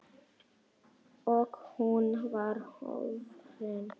Og hún var horfin.